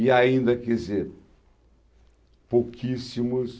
E ainda, quer dizer, pouquíssimos.